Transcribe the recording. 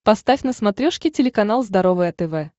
поставь на смотрешке телеканал здоровое тв